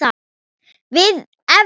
Lið Evrópu.